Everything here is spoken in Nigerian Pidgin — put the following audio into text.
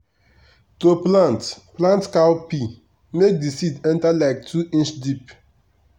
to plant plant cowpea make d seed enter like two inch deep.